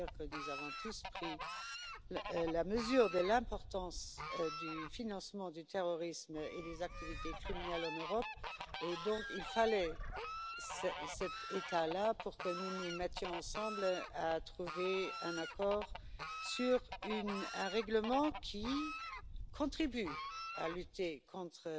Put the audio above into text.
Nous avons en effet tous pris la mesure de l'importance du financement du terrorisme et des activités criminelles en Europe, et il fallait une telle situation pour que nous nous mettions ensemble pour trouver un accord sur un règlement qui contribue à lutter contre